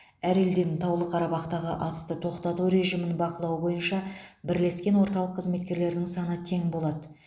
әр елден таулы қарабақтағы атысты тоқтату режимін бақылау бойынша бірлескен орталық қызметкерлерінің саны тең болады